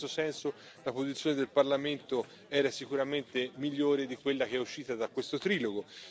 In questo senso, la posizione del Parlamento era sicuramente migliore di quella che è uscita da questo trilogo.